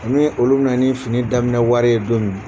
Ani olu bɛ na ni fini daminɛ wari ye don min.